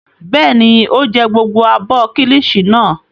Bẹ́ẹ̀ ni, ó jẹ gbogbo abọ́ kíllìṣi náà.